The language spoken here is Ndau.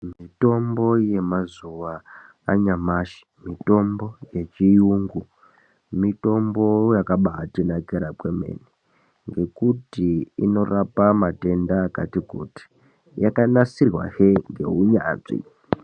Mitombo yemazuwa anyamashi mitombo yechiyungu mitombo yakabaatinakira kwemene, ngekuti inorapa matenda akati -kuti yakanasirwahe ngeunyanzvi.